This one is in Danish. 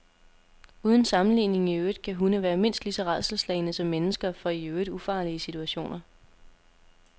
Uden sammenligning i øvrigt kan hunde være mindst lige så rædselsslagne som mennesker for i øvrigt ufarlige situationer.